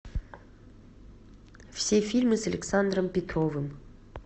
все фильмы с александром петровым